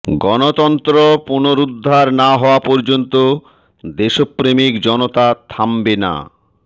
গণতন্ত্র পুনরুদ্ধার না হওয়া পর্যন্ত দেশপ্রেমিক জনতা থামবে না